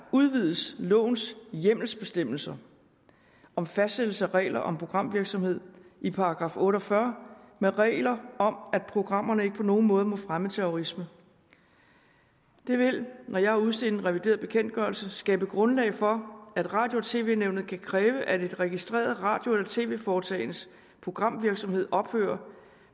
udvides lovens hjemmelsbestemmelser om fastsættelse af regler om programvirksomhed i § otte og fyrre med regler om at programmerne ikke på nogen måde må fremme terrorisme det vil når jeg har udstedt en revideret bekendtgørelse skabe grundlag for at radio og tv nævnet kan kræve at et registreret radio eller tv foretagendes programvirksomhed ophører